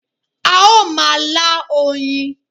A ó ma lá oyin